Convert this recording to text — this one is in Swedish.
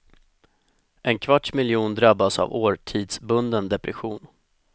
En kvarts miljon drabbas av årstidsbunden depression.